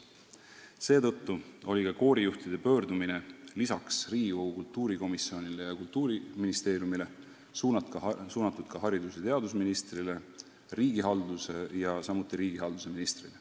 Seetõttu oligi koorijuhtide pöördumine suunatud peale Riigikogu kultuurikomisjoni ja Kultuuriministeeriumi ka haridus- ja teadusministrile, samuti riigihalduse ministrile.